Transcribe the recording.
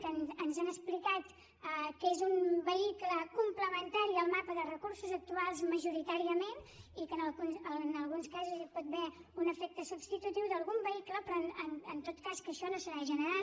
que ens han explicat que és un vehicle complementari al mapa de recursos actuals majoritàriament i que en alguns casos hi pot haver un efecte substitutiu d’algun vehicle però en tot cas que això no serà general